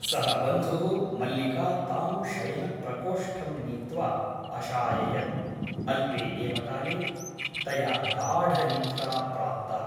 सः बन्धुः मल्लिका तां शयनप्रकोष्ठं नीत्वा अशाययत् । अल्पे एव काले तया गाढनिद्रा प्राप्ता ।